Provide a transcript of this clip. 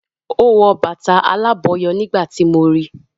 O wọ bàtà alábọ̀yọ nígbà tíì mo rí